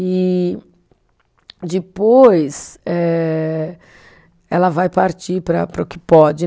E depois eh ela vai partir para para o que pode.